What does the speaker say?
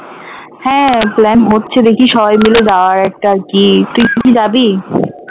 হ্যাঁ plan হচ্ছে দেখি সবাই মিলে যাবার একটা কি তুই কি যাবি?